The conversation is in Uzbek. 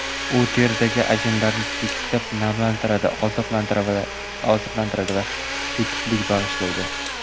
U teridagi ajinlarni tekislab, namlantiradi, oziqlantiradi va tetiklik bag‘ishlaydi.